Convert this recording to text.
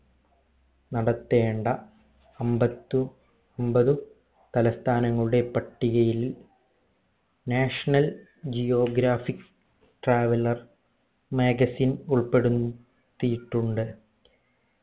നടത്തേണ്ട അമ്പതു അമ്പത് തലസ്ഥാനങ്ങളുടെ പട്ടികയിൽ national geographic traveller magazine ഉൾപ്പെടുന്ന് പെടുത്തിയിട്ടുണ്ട്